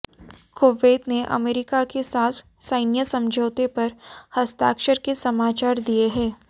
Kuwait ने America के साथ सैन्य समझौते पर हस्ताक्षर के समाचार दिये हैं